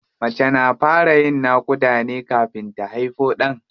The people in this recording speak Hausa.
Mace na fara yin naƙuda ne kafin ta haifo ɗan.